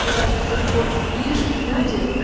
и даже в тот бот пишут люди